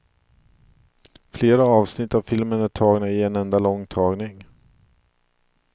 Flera avsnitt av filmen är tagna i en enda lång tagning.